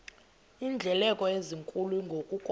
iindleko ezinkulu ngokukodwa